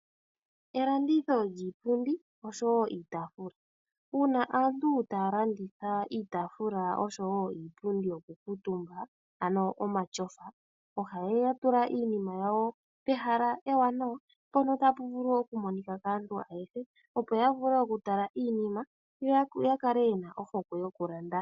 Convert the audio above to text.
Elanditho lyiipundi osho wo iitaafula. Uuna aantu taya landitha iitaafula osho wo iipundi yokukuutumba, ano omatyofa, ohaya tula iinima yawo pehala ewanawa mpono tapu vulu okumonika kaantu ayehe, opo ya vule okutala iinima, yo ya kale ye na ohokwe yokulanda.